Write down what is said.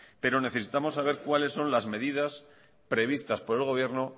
pero necesitamos saber cuáles son las medidas previstas por el gobierno